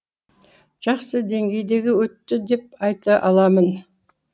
жақсы деңгейде өтті деп айта аламын